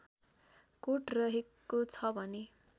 coat रहेको छ भने